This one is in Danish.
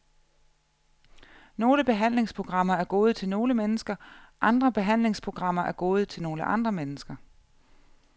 Nogle behandlingsprogrammer er gode til nogle mennesker, andre behandlingsprogrammer er gode til nogle andre mennesker.